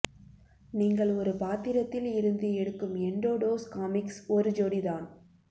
நீங்கள் ஒரு பாத்திரத்தில் இருந்து எடுக்கும் எண்டோடோஸ் காமிக்ஸ் ஒரு ஜோடி தான்